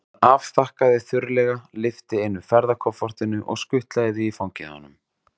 Hún afþakkaði þurrlega, lyfti einu ferðakoffortinu og skutlaði því í fangið á honum.